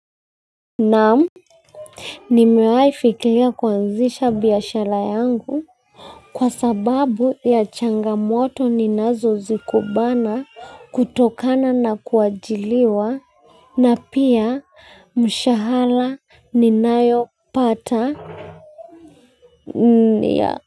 Naam, nimewaifikiria kuanzisha biashara yangu kwa sababu ya changamoto ninazo zikumbana kutokana na kuajiriwa na pia mshahara ninayopata ya.